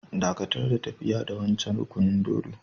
Dakatar da tafiya da wancan rukunin dōdo!